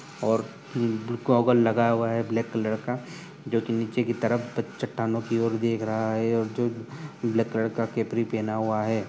और गोगल लगाया हुआ है ब्लैक कलर का जोकि निचे की तरफ त चट्टानों की ओर देख रहा है और जो ब्लैक कलर का कैफ्री पेहना हुआ है।